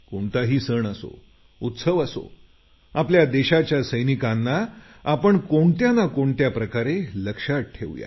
कोणताही सण असो उत्सव असो आपल्या देशाच्या सैनिकांना आपण कोणत्या ना कोणत्या प्रकारे लक्षात ठेवू या